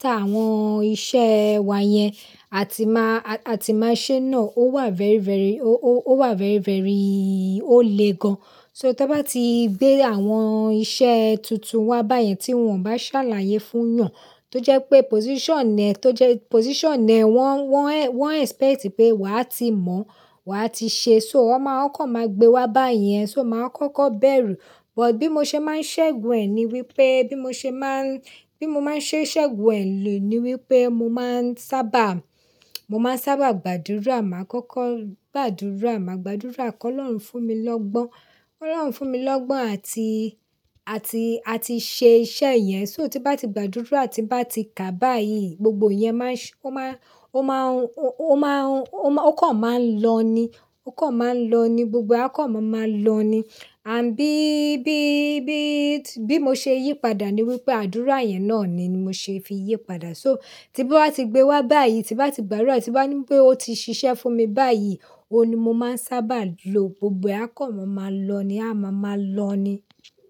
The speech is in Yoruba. táwọn iṣẹ̀ wa yẹn a ti máa, a ti máa ṣe náà ó wà very, very, ó wà very, very, ó le gan. So, tẹbá ti gbé àwọn iṣẹ́ tuntun wá báyẹn ti wọ̀n bá sàlàyé fún yàn tójẹ́pé position ẹ tójẹ́ pé position ẹ wọn expect pé wàá ti mọ̀ọ́ wàá ti ṣe, so wọ́n kàn máà gbe wá báyẹn, so máà kọ́kọ́ bẹ̀rẹ̀. But bí mo ṣe máa ń ṣẹ́gun ẹ̀ ni wípé bí mo ṣe máa ń, bí mo máa ń ṣé ṣẹ́gun ẹ̀ lò ni wípé mo máa ń sábà, mo máa ń sábà gbàdúrà. Màá kọ́kọ́ gbàdúrà, màá gbàdúrà kí Ọlọ́run fún mi lọ́gbọ́n, kí Ọlọ́run fún mi lọ́gbọ́n àti, àti, àti ṣe iṣẹ́ yẹn. So tí bá ti gbàdúrà ti bá ti kà báyìí gbogbo yẹn máa ń ṣe, ó máa, ó máa, ó máa, ó kàn máa ń lọ'ni, ó kàn máa ń lọ'ni, gbogbo ẹ́ kàn máa máa lọ ni. Àbí bí, bí, bí mo ṣe yí padà ni wípé àdúrà yẹn náà ni mo ṣe fi yí padà. So tí bá wá ti gbé wá báyìí, tí bá ti gbárù ú ti bá ní wípé ó ti ṣiṣẹ́ fún mi báyìí, òun ni mo máa ń sábà lò. Gbogbo ẹ́ kàn máa máa lọ ni, a máa máa lọ ni.